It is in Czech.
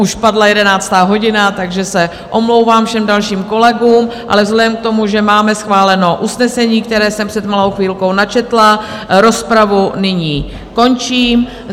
Už padla jedenáctá hodina, takže se omlouvám všem dalším kolegům, ale vzhledem k tomu, že máme schváleno usnesení, které jsem před malou chvilkou načetla, rozpravu nyní končím.